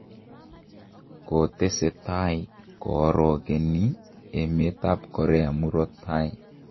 Kotesetai koorongeniie emet ab Korea murto taii